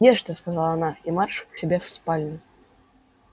ешьте сказала она и марш к себе в спальню